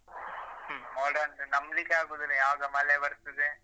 ಹ್ಮ್ ಮೋಡವನ್ನು ನಮ್ಬಲಿಕ್ಕೆ ಆಗುದಿಲ್ಲ ಯಾವಾಗ ಮಳೆ ಬರ್ತದೆ.